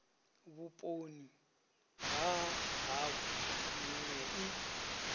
vhuponi ha havho minwe i